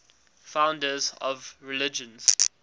founders of religions